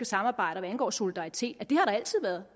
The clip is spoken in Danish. samarbejde og solidaritet at det har der altid været